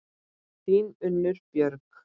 Þín, Unnur Björg.